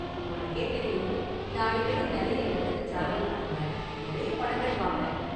உனக்கே தெரியும், நான் அடிக்கடி நிறைய​ இடத்துக்கு டிராவல் பண்ணுவேன், நிறைய​ படங்கள் பார்ப்பேன்.